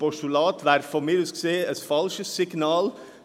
Ein Postulat wäre, meiner Ansicht nach, ein falsches Signal.